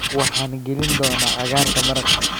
Waxaan gelin doonaa cagaarka maraq.